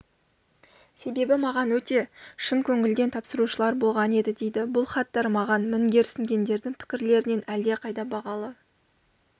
себебі маған өте шын көңілден тапсырушылар болған еді дейді бұл хаттар маған мінгерсінгендердің пікірлерінен әлдеқайда бағалы